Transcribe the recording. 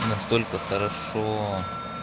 настолько хорошо